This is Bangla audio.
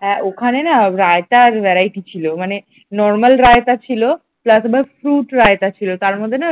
হ্যাঁ ওখানে না রায়তার verity ছিল মানে normal রাইতা ছিল plus আবার fruit রাইতা ছিল তার মধ্যে না